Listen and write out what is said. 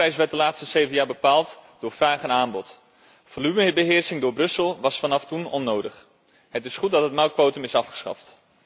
De melkprijs werd de laatste zeven jaar bepaald door vraag en aanbod. Volumebeheersing door Brussel was vanaf toen onnodig. Het is goed dat het melkquotum is afgeschaft.